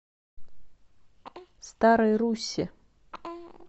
старой руссе